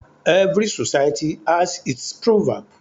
Every society has its proverb.